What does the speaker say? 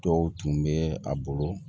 Dɔw tun bɛ a bolo